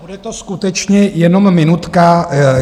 Bude to skutečně jenom minutka.